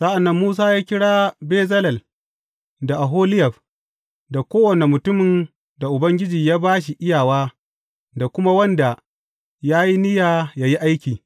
Sa’an nan Musa ya kira Bezalel da Oholiyab da kowane mutumin da Ubangiji ya ba shi iyawa da kuma wanda ya yi niyya yă yi aiki.